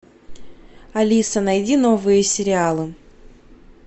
алиса найди новые сериалы